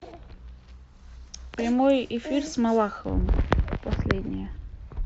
прямой эфир с малаховым последнее